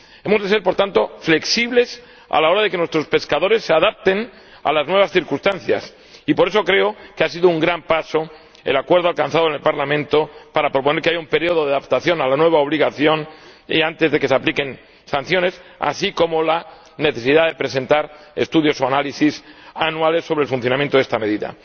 Hemos de ser por lo tanto flexibles a la hora de que nuestros pescadores se adapten a las nuevas circunstancias y, por eso, creo que ha sido un gran paso el acuerdo alcanzado en el Parlamento sobre la propuesta de que haya un período de adaptación a la nueva obligación antes de que se apliquen sanciones, así como la necesidad de presentar estudios o análisis anuales sobre el funcionamiento de esta medida.